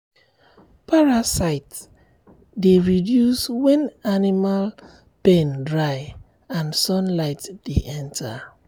parasite dey reduce when animal pen dry and sunlight dey enter.